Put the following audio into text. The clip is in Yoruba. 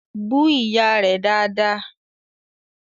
Bú Ìyá rẹ̀ dáadáa!